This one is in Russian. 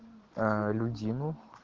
а людину